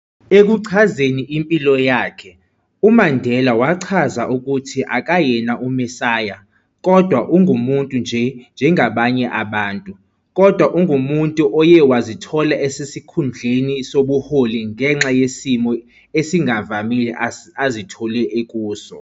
Ekuchazeni impiloyakhe, uMandela wachaza ukuthi akayena uMesaya, kodwa ungumuntu nje njengabanye abantu, kodwa ungumuntu oye wazithola esesikhundleni sobuholi ngenxa yesimo esingavamile azithole ekuso."